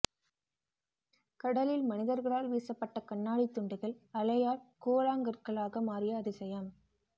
கடலில் மனிதர்களால் வீசப்பட்ட கண்ணாடி துண்டுகள் அலையால் கூழாங்கற்களாக மாறிய அதிசயம்